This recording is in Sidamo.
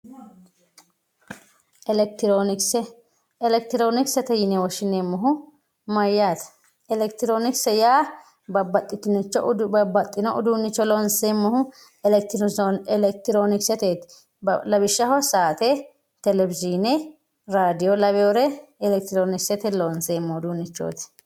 Elekitiroonkise elekitiroonkisete yine woshshineemmohu maayyaate? Elekitiroonkise yaa babbaxxino uduunnicho loonseemmohu elekitiroonikiseteeti lawisjshaho saate raadio telewishiine lawinore elekitiroonikisete loonseemmorichooti.